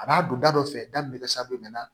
A b'a don da dɔ fɛ da min bɛ kɛ